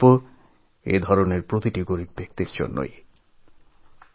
এই যোজনা এইসব দরিদ্র জনসাধারণের উপকারের জন্যই চালু করা হয়েছে